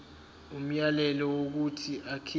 umyalelo wokuthi akhipha